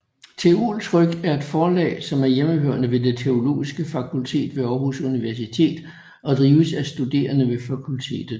Teoltryk er et forlag som er hjemhørende ved Det Teologiske Fakultet ved Aarhus Universitet og drives af studerende ved fakultetet